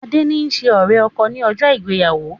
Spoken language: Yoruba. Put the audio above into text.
Adé ni ṣe ọ̀rẹ́-ọkọ ni ọjọ́ ìgbéyàwó